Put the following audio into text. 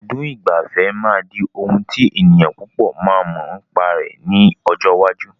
Ibùdó ìgbafẹ́ máa di ohùn tí ènìyàn púpò máa mọ nípa rẹ̀ ní ọjọ́ iwájú.